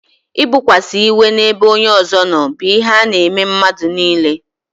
I bokwasa iwe n'ebe onye ọzọ nọ bụ ihe n'eme mmadụ niile